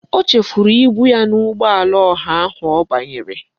O chefuru ibu ya n'ụgbọala ọha ahụ ọ banyere.